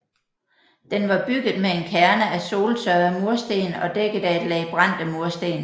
Den var bygget med en kerne af soltørrede mursten og dækket af et lag brændte mursten